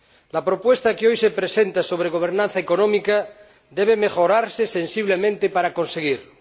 La propuesta que hoy se presenta sobre gobernanza económica debe mejorarse sensiblemente para conseguirlo.